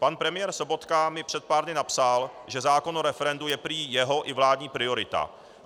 Pan premiér Sobotka mi před pár dny napsal, že zákon o referendu je prý jeho i vládní priorita.